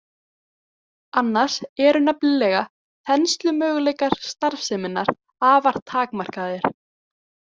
Annars eru nefnilega þenslumöguleikar starfseminnar afar takmarkaðir.